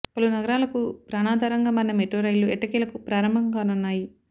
పలు నగరాలకు ప్రాణాధారంగా మారిన మెట్రో రైళ్లు ఎట్టకేలకు ప్రారంభం కానున్నాయి